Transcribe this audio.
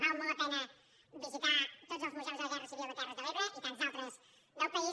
val molt la pena visitar tots els museus de la guerra civil de les terres de l’ebre i tants altres del país